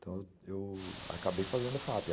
Então, eu acabei fazendo a fa pê